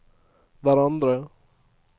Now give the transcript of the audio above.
hverandre